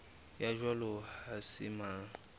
ya jwalo ha se mang